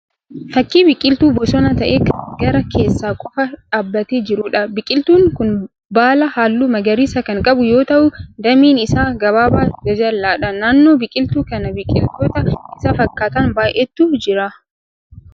Fakkii biqiltuu bosonaa ta'ee kan gaara keessa qofaa dhaabbatee jiruudha. Biqiltuun kun baala halluu magariisa kan qabu yoo ta'u dameen isa gabaabaa jajal'aadha. Naannoo biqiltuu kanaa biqiloota isa fakkaatan baay'eetu jiru.